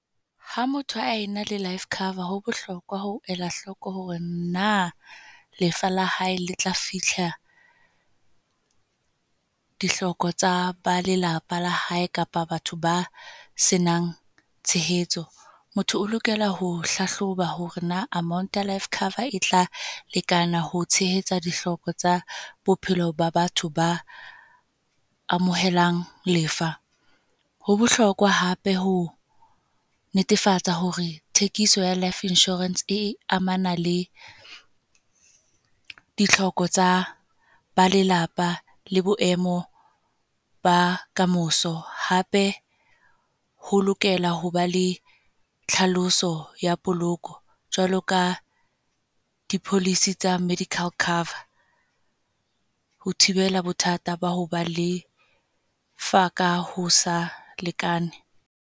Ha motho a ena le life cover. Ho bohlokwa ho elahloko hore na lefa la hae le tla fihla, dihloko tsa ba lelapa la hae kapa batho ba senang tshehetso. Motho o lokela ho hlahloba hore na amount ya life cover e tla lekana ho tshehetsa ditlhoko tsa bophelo ba batho ba, amohelang lefa. Ho bohlokwa hape ho netefatsa hore thekiso ya Life Insurance e amana le ditlhoko tsa ba lelapa, le boemo ba kamoso. Hape, ho lokela hoba le tlhaloso ya poloko jwalo ka di-policy tsa medical cover. Ho thibela bothata ba ho ba lefa ka ho sa lekane.